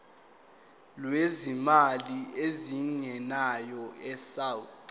lwezimali ezingenayo isouth